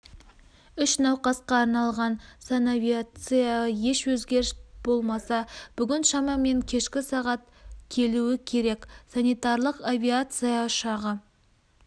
үш науқасқа арналған санавиация еш өзгеріс болмаса бүгін шамамен кешкі сағат келуі керек санитарлық авиация ұшағы